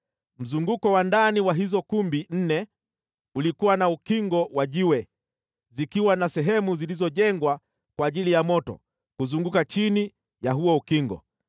Mzunguko wa ndani wa hizo kumbi nne ulikuwa na ukingo wa jiwe, zikiwa na sehemu zilizojengwa kwa ajili ya moto kuzunguka chini ya huo ukingo.